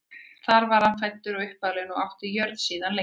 þar var hann fæddur og uppalinn og átti jörðina síðan lengi